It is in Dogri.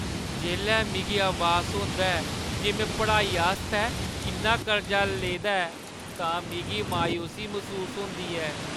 जेल्लै मिगी अभास होंदा ऐ जे में पढ़ाई आस्तै किन्ना कर्जा लेदा ऐ तां मिगी मायूसी मसूस होंदी ऐ ।